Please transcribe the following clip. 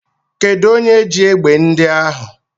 Kedụ onye ji egbe ndị ahụ?